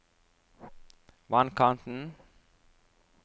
vannkanten